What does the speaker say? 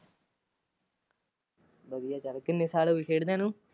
ਵਧੀਆ ਚਲ ਕਿੰਨੇ ਸਾਲ ਹੋ ਗਏ ਖੇਡਦਿਆਂ ਨੂੰ?